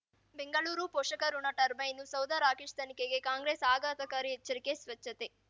ಬೆಂಗಳೂರು ಪೋಷಕರಋಣ ಟರ್ಬೈನು ಸೌಧ ರಾಕೇಶ್ ತನಿಖೆಗೆ ಕಾಂಗ್ರೆಸ್ ಆಘಾತಕಾರಿ ಎಚ್ಚರಿಕೆ ಸ್ವಚ್ಛತೆ